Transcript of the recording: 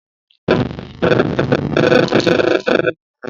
Èmi yòò rá èrọ̀ orin DVD ní ọlá